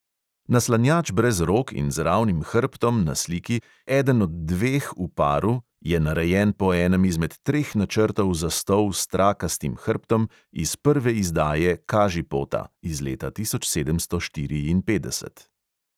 Naslanjač brez rok in z ravnim hrbtom na sliki, eden od dveh v paru, je narejen po enem izmed treh načrtov za stol s trakastim hrbtom iz prve izdaje kažipota (iz leta tisoč sedemsto štiriinpetdeset).